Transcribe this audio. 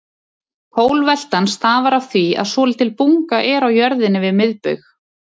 Pólveltan stafar af því að svolítil bunga er á jörðinni við miðbaug.